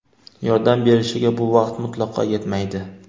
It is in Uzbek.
yordam berishiga bu vaqt mutlaqo yetmaydi.